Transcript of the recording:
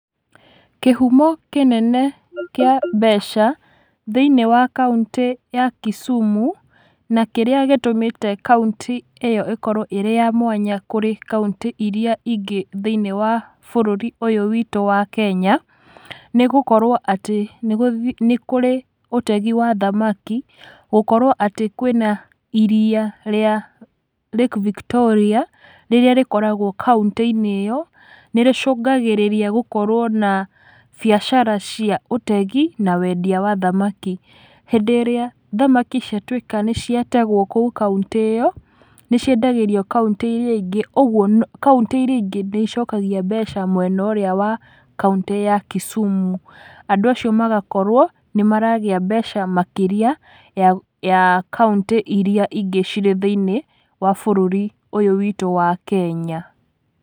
Kĩhumo kĩnene kĩa mbeca thĩ-inĩ wa kauntĩ ya Kisumu, na kĩrĩa gĩtũmĩte kauntĩ ĩyo ĩkorwo ĩrĩ ya mwanya kũrĩ kauntĩ iria ingĩ thĩ-inĩ wa bũrũri ũyũ witũ wa kenya, nĩgũkorwo atĩ nĩgũthi nĩkũrĩ na ũtegi wa thamaki, gũkorwo atĩ kwĩna iria rĩa Lake Victoria, rĩrĩa rĩkoragwo kauntĩ-inĩ ĩyo, nĩrĩcũngagĩrĩria gũkorwo na biacara cia ũtegi na wendia wa thamaki. Hĩndĩ ĩrĩa thamaki ciatwĩka nĩciategwo, kũu kauntĩ ĩyo, nĩciendagĩrio kauntĩ iria ingĩ, ũguo kauntĩ iria ingĩ nĩicokagia mbeca mwena ũrĩa wa kauntĩ ya Kisumu, na andú acio magakorwo nĩmaragĩa mbeca makĩria ya kauntĩ iria ingĩ cirĩ thĩinIĩ wa bũrũri ũyũ witũ wa kenya.